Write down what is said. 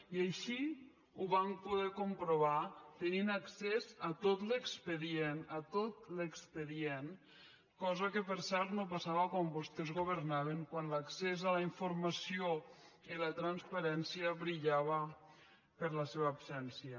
i així ho vam poder comprovar tenint accés a tot l’expedient a tot l’expedient cosa que per cert no passava quan vostès governaven quan l’accés a la informació i la transparència brillaven per la seva absència